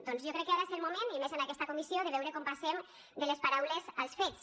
doncs jo crec que ara és el moment i més en aquesta comissió de veure com passem de les paraules als fets